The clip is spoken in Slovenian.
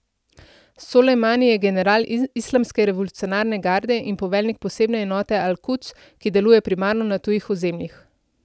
Solejmani je general Islamske revolucionarne garde in poveljnik posebne enote Al Kuds, ki deluje primarno na tujih ozemljih.